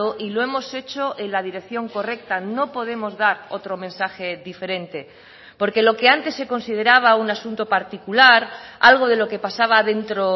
y lo hemos hecho en la dirección correcta no podemos dar otro mensaje diferente porque lo que antes se consideraba un asunto particular algo de lo que pasaba dentro